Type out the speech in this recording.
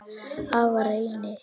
Afa Reyni.